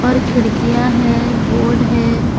खिड़कियां हैं बोर्ड है।